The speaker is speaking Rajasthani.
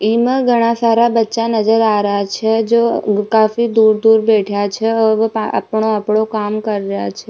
इमा घड़ा सारा बच्चा नजर आ रहा छ जो काफी दूर दूर बैठा छ और अपनों अपनों काम कर रहा छ।